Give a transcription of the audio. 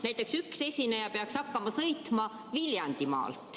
Näiteks üks esineja peaks sel juhul hakkama siia sõitma Viljandimaalt.